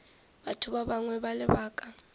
batho ba bangwe ka lebaka